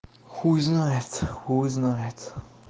хуй знает хуй знает